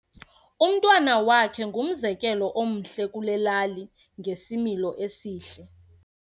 Umntwana wakhe ungumzekelo omhle kule lali ngesimilo esihle.